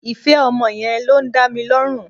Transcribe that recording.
Ìfẹ́ ọmọ yẹn ló ń dá mi lọ́rùn